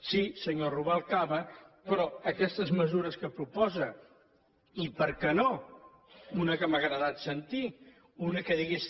sí senyor rubalcaba però aquestes mesures que proposa i per què no una que m’ha agradat sentir una que digués